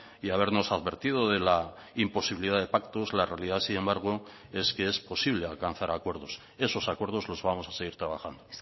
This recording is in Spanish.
y habernos advertido de la imposibilidad de pactos la realidad sin embargo es que es posible alcanzar acuerdos esos acuerdos los vamos a seguir trabajando